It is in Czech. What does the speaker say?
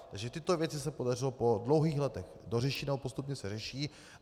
Takže tyto věci se podařilo po dlouhých letech dořešit nebo postupně se řeší.